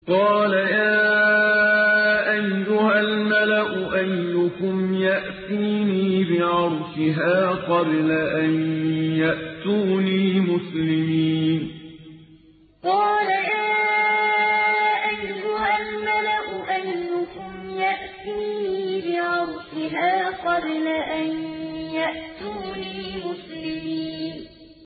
قَالَ يَا أَيُّهَا الْمَلَأُ أَيُّكُمْ يَأْتِينِي بِعَرْشِهَا قَبْلَ أَن يَأْتُونِي مُسْلِمِينَ قَالَ يَا أَيُّهَا الْمَلَأُ أَيُّكُمْ يَأْتِينِي بِعَرْشِهَا قَبْلَ أَن يَأْتُونِي مُسْلِمِينَ